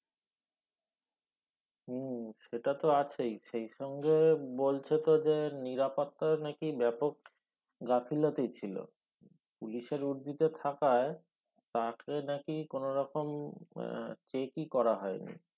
উম সেটা তো আছে সে সঙ্গে বলছে তো যে নিরাপত্তা নাকি ব্যাপক গাফিলতি ছিলো পুলিশ এর উর্দিতে থাকায় তাকে নাকি কোন রকম আহ check ই করা হয়নি